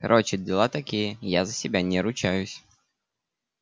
короче дела такие я за себя не ручаюсь